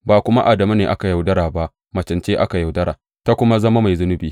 Ba kuma Adamu ne aka yaudara ba; macen ce aka yaudara ta kuma zama mai zunubi.